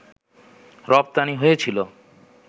রপ্তানি হয়েছিল